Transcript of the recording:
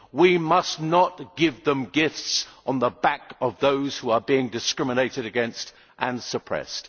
We must not give them gifts on the back of those who are being discriminated against and suppressed.